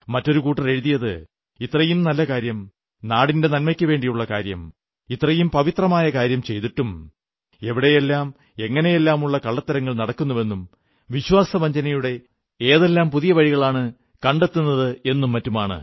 മറ്റൊരു കൂട്ടർ എഴുതിയത് ഇത്രയും നല്ല കാര്യം നാടിന്റെ നന്മയ്ക്കുവേണ്ടിയുള്ള കാര്യം ഇത്രയും പവിത്രമായ കാര്യം ചെയ്തിട്ടും എവിടെയെല്ലാം എങ്ങനെയെല്ലാമുള്ള കള്ളത്തരങ്ങൾ നടക്കുന്നുവെന്നും വിശ്വാസവഞ്ചനയുടെ ഏതെല്ലാം പുതിയ വഴികളാണ് കണ്ടെത്തുന്നതെന്നും മറ്റുമാണ്